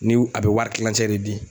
Ni w a bɛ wari tilancɛ de di